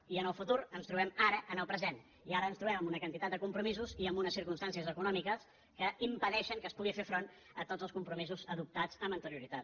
i en el futur ens trobem ara en el present i ara ens trobem amb una quantitat de compromisos i amb unes circumstàncies econòmiques que impedeixen que es pugui fer front a tots els com·promisos adoptats amb anterioritat